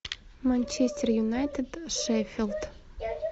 манчестер юнайтед шеффилд